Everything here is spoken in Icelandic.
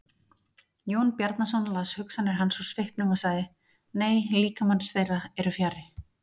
Jón Bjarnason las hugsanir hans úr svipnum og sagði:-Nei, líkamar þeirra eru fjarri.